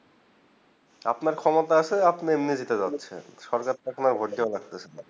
আপনার ক্ষমতা আছেন এমনি জিতে যাচ্ছেন সরকার ঠেকেনা ভোট দেবার দরকার হয় না